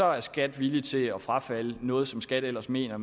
er skat villig til at frafalde noget som skat ellers mener at